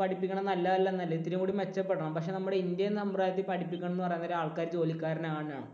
പഠിപ്പിക്കുന്നത് നല്ലതല്ല എന്നല്ല ഇത്തിരികൂടി മെച്ചം മെച്ചപ്പെടണം. പക്ഷേ നമ്മുടെ ഇന്ത്യൻ സമ്പ്രദായത്തിൽ പഠിപ്പിക്കുന്നത് എന്ന് പറയുന്നത് ആൾക്കാരു ജോലിക്കാരനാകാനാണ്.